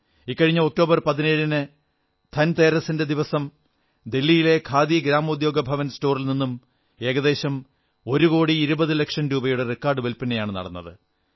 ഇക്കഴിഞ്ഞ ഒക്ടോബർ 17 ന് ധൻതേരസ്ന്റെ ദിവസം ദില്ലിയിലെ ഖാദി ഗ്രാമോദ്യോഗഭവൻ സ്റ്റോറിൽ നിന്നും ഏകദേശം ഒരുകോടി ഇരുപതുലക്ഷം രൂപയുടെ റെക്കാഡ് വിൽപനയാണു നടന്നത്